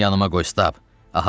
Onu yanıma qoy, Stab,